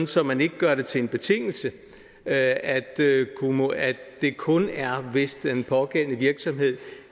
så man ikke gør det til en betingelse at at det kun er hvis den pågældende virksomhed